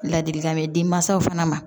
Ladilikan bɛ den mansaw fana ma